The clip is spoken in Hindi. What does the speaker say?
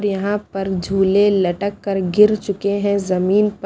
यहां पर झूले लटक कर गिर चुके हैं जमीन प--